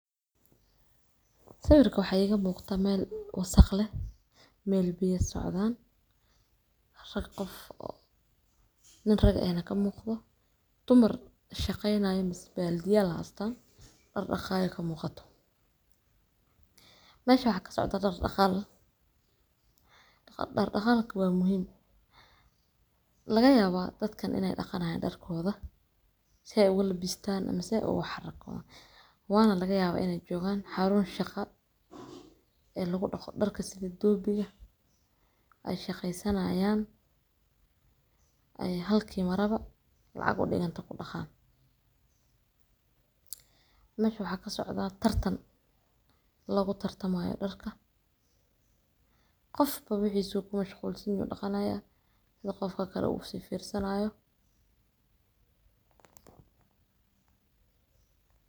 Sawirkan waxaa iga muuqda meel wasakh leh, meel biyo socdaan. Hal qof oo nin rag ah ayaa ka muuqda, dumar shaqaynayo misee baldiyaal heestaan daar dhaqayaan ayaa ka muuqda. Meshaan waxaa ka socdaa daar dhaqaal, daar dhaqaalka waa muhiim. Laga yaabaa in dadkan ay dhaqayaan dharkooda, si ay ugu labistaan ama ugu xarragoodaan. Waa la yaabaa in ay joogaan xarun shaqo ee lagu dhaqo dharka sida doobiga ay shaqaysanayaan ay halkii marabo lacag u dhiganto ku dhaqaan. Meesha waxaa ka socdaa tartan lagu tartamayo dhaqidda dharka. Qof walba wixiisa ayuu ku mashquulsan yahay dhaqanayaa, sida qofka kale u sii fiirsanayo.